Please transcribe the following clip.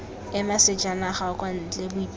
ema sejanaga kwa ntle boipelo